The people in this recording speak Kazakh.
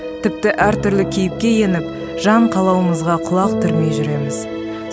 тіпті әр түрлі кейіпке еніп жан қалауымызға құлақ түрмей жүреміз